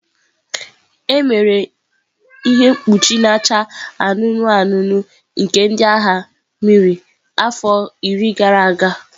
Emere ihe mkpuchi na-acha anụnụ anụnụ nke ndị agha mmiri afọ iri gara aga.